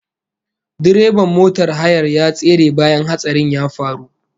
Direban motar hayar ya tsere bayan hatsarin ya faru